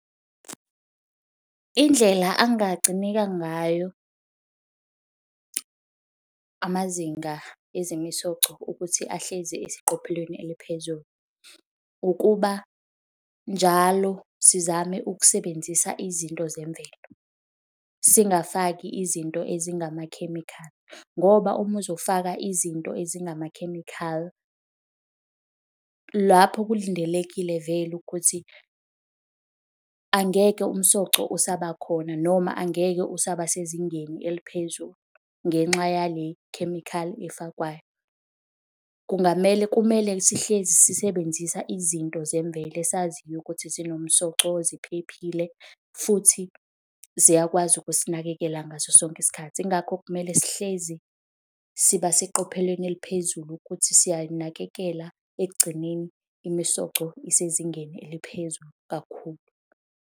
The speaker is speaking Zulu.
Indlela angagcineka ngayo amazinga ezemisoco ukuthi ahlezi eseqophelweni eliphezulu, ukuba njalo sizame ukusebenzisa izinto zemvelo. Singafaki izinto ezingamakhemikhali ngoba uma uzofaka izinto ezingamakhemikhali, lapho kulindelekile vele ukuthi angeke umsoco usaba khona noma angeke usaba sezingeni eliphezulu ngenxa yale chemical efakwayo. Kungamele, kumele sihlezi sisebenzisa izinto zemvelo esaziyo ukuthi zinomsoco, ziphephile futhi ziyakwazi ukusinakekela ngaso sonke isikhathi. Yingakho kumele sihlezi siba seqophelweni eliphezulu ukuthi siyanakekela ekugcineni imisoco isezingeni eliphezulu kakhulu.